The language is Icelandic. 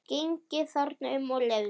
Gengið þarna um og leiðst.